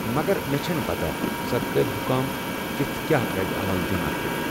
مگر مےٚ چھنہٕ پتہ سرکٲرِ حُكام کِتھ كیاہ ردِ عمل دِن اتھ پیٹھ ۔